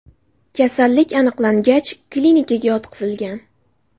Kasallik aniqlangach, klinikaga yotqizilgan.